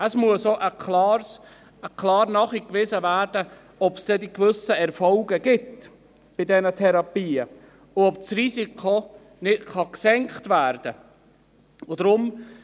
Es muss auch klar nachgewiesen werden, ob es dann mit diesen Therapien gewisse Erfolge gibt und das Risiko gesenkt werden kann.